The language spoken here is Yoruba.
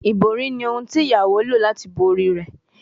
Ibori ni ohun ti iyawo lo lati bo ori rẹ